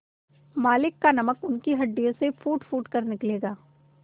मालिक का नमक उनकी हड्डियों से फूटफूट कर निकलेगा